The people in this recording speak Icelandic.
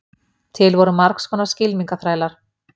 Til voru margs konar skylmingaþrælar.